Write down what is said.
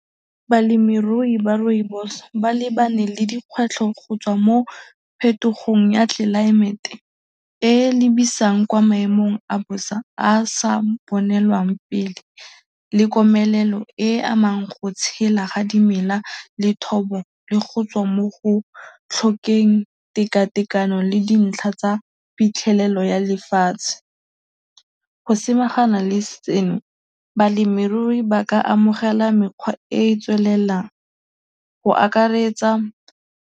Balemirui ba rooibos ba lebane le dikgwetlho go tswa mo phetogong ya tlelaemete e e lebisang kwa maemong a bosa a a sa bonelwang pele le komelelo e e amang go tshela ga dimela le thobo le go tswa mo go tlhokeng tekatekano le dintlha tsa phitlhelelo ya lefatshe. Go samagana le seno, balemirui ba ka amogela mekgwa e e tswelelang go akaretsa.